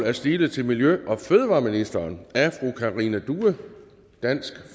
er stillet til miljø og fødevareministeren af fru karina due dansk